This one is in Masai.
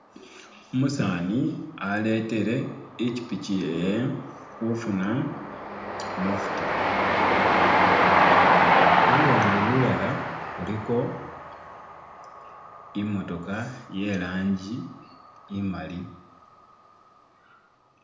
Umusani aletele ipichipichi yewe kufuna mafuta, kuluwande lulala kuliko imootoka yelangi imali.